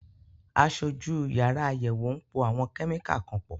Aṣojú yàrá àyẹ̀wò ń po àwọn kẹ́míkà kan pọ̀.